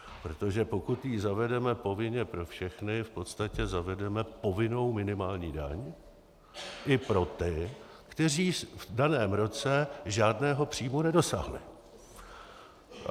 Protože pokud ji zavedeme povinně pro všechny, v podstatě zavedeme povinnou minimální daň i pro ty, kteří v daném roce žádného příjmu nedosáhli.